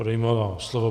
Odejmu vám slovo.